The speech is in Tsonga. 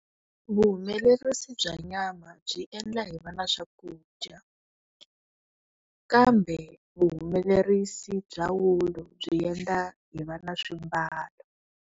Vuhumelerisi bya nyama byi endla hi va na swakudya kambe vuhumelerisi bya wulu byi endla hi va na swimbalo.